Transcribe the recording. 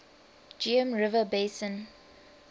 geum river basin